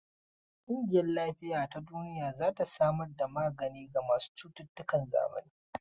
ƙungiyar Lafiya ta Duniya za ta samar da magani ga masu cututtukan zamani.